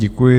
Děkuji.